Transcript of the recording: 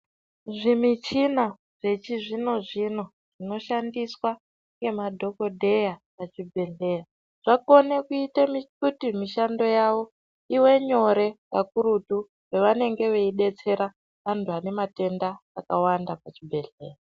Zvimuchina zvechizvino zvino zvinoshandiswa nemadhokodheya muchibhehlera Zvakakona kuti msihando yawo ive nyore kakurutu pavanenge veidetsereka vantu vane matenda akawanda muzvibhedhlera.